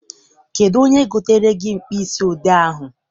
Kedụ onye gotere gị mkpịsị odee ahụ?